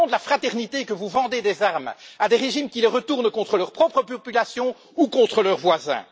Est ce au nom de la fraternité que vous vendez des armes à des régimes qui les retournent contre leur propre population ou contre leurs voisins?